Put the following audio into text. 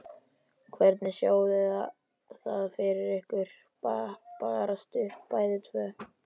Hvernig sjáið þið það fyrir ykkur bara stutt bæði tvö?